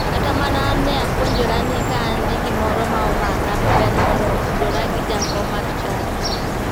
Kata mana an ne apuonjora ni ka an gi gimoro ma omaka to ber mondo tudora gi jakom mar chadi.